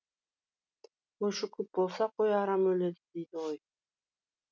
қойшы көп болса қой арам өледі дейді ғой